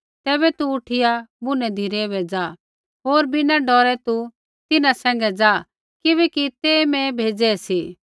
तैबै तू उठिया बुनै धिरै बै ज़ा होर बिना डौरै तू तिन्हां सैंघै ज़ा किबैकि ते मैं भेज़ै सी